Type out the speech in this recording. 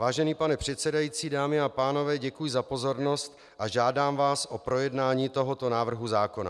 Vážený pane předsedající, dámy a pánové, děkuji za pozornost a žádám vás o projednání tohoto návrhu zákona.